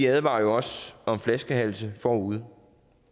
advarer jo også om flaskehalse forude